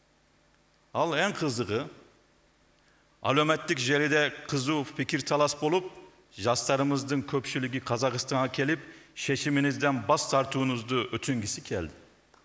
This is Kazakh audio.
ал ең қызығы әлеуметтік желіде қызу пикир талас болып жастарымыздың көпшілігі қазақстанға келіп шешіміңізден бас тартуыңызды өтінгісі келді